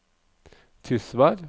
Tysvær